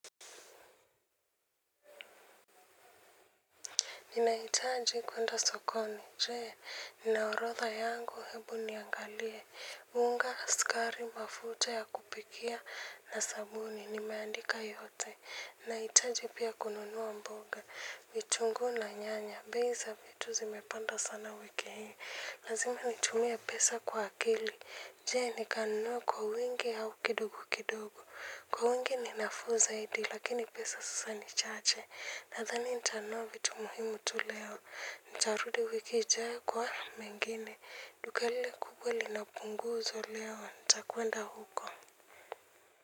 Ninahitaji kwenda sokoni. Je, nina orodha yangu hebu niangalie. Unga, skari, mafuta ya kupikia na sabuni. Nimeandika yote. Ninahitaji pia kununua mboga. Vitungu na nyanya. Bei za vitu zimepanda sana wiki hii. Lazima nitumie pesa kwa akili. Je, nikanunue kwa wingi au kidogo kidogo. Kwa wingi ni nafuu zaidi, lakini pesa sasa ni chache. Nadhani ntanunua vitu muhimu tu leo ntarudi wiki ijayo kwa mengine duka lile kubwa lina punguzo leo ntakuenda huko.